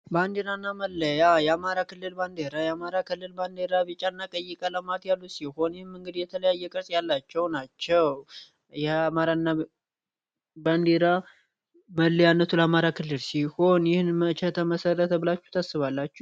በአንዲራና መለያ የአማራ ክልል ባንዴራ የአማራ ክልል ባንዴራ ቢጫ ና ቀይቀ ለማት ያሉት ሲሆን ም እንግድ የተለያየቅርጽ ያላቸው ናቸው የማራ ና ባንዴራ መለያነቱ ለማራ ክልድ ሲሆን ይህን መቸ ተመሠረተብላችሁ ተስባላቸው